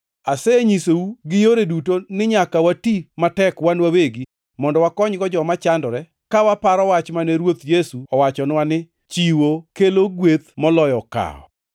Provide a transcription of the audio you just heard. Asenyisou gi yore duto ni nyaka wati matek wan wawegi mondo wakonygo joma chandore, ka waparo wach mane Ruoth Yesu owachonwa ni, ‘Chiwo kelo gweth moloyo kawo!’ ”